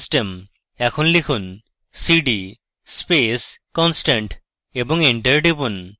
এখন লিখুন cd space constant এবং এন্টার টিপুন